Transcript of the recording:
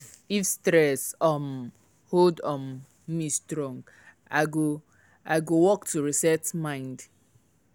if stress um hold um me strong i go i go walk to reset mind. um